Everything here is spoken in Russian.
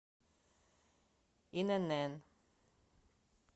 инн